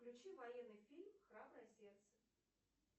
включи военный фильм храброе сердце